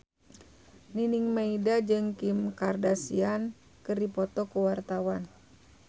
Nining Meida jeung Kim Kardashian keur dipoto ku wartawan